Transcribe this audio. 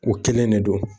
O kelen de don